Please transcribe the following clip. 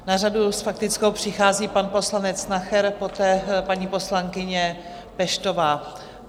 Na řadu s faktickou přichází pan poslanec Nacher, poté paní poslankyně Peštová.